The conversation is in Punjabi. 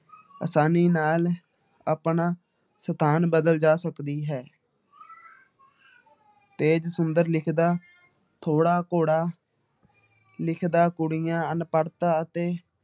ਆਸਾਨੀ ਨਾਲ ਆਪਣਾ ਸਥਾਨ ਬਦਲ ਜਾ ਸਕਦੀ ਹੈੈ ਤੇਜ ਸੁੰਦਰ ਲਿਖਦਾ, ਥੋੜ੍ਹਾ ਘੋੜਾ ਲਿਖਦਾ ਕੁੜੀਆਂ ਅਨਪੜ੍ਹਤਾ ਅਤੇ